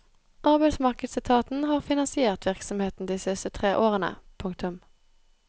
Arbeidsmarkedsetaten har finansiert virksomheten de siste tre årene. punktum